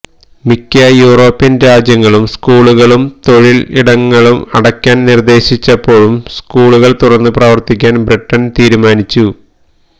മിക്ക യൂറോപ്യന് രാജ്യങ്ങളും സ്കൂളുകളും തൊഴില് ഇടങ്ങളും അടയ്ക്കാന് നിര്ദേശിച്ചപ്പോഴും സ്കൂളുകള് തുറന്ന് പ്രവര്ത്തിക്കാന് ബ്രിട്ടന് തീരുമാനിച്ചു